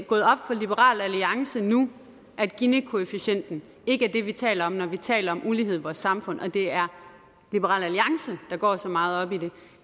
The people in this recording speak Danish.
gået op for liberal alliance nu at ginikoefficienten ikke er det vi taler om når vi taler om ulighed i vores samfund og det er liberal alliance der går så meget op i det